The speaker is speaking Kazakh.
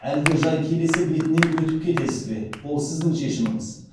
әлде жай келесі бетінен өтіп кетесіз бе ол сіздің шешіміңіз